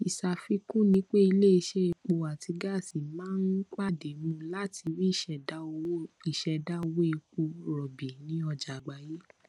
ìṣàfikún ní pé iléiṣẹ epo àti gáàsì máa ń pàde mú lati rí ìṣèdá owó ìṣèdá owó epo rọbì ní ọjà àgbáyé